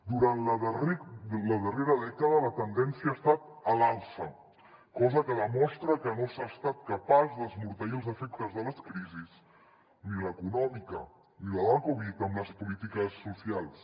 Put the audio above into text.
durant la darrera dècada la tendència ha estat a l’alça cosa que demostra que no s’ha estat capaç d’esmorteir els efectes de les crisis ni l’econòmica ni la de la covid amb les polítiques socials